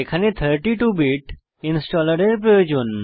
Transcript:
এখানে 32 bit installer এর প্রয়োজন